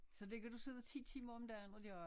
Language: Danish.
Så det kan du sidde 10 timer om dagen og gøre?